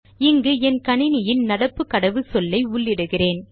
இங்கு என் கணினியின் நடப்பு கடவுச்சொல்லை உள்ளிடுகிறேன்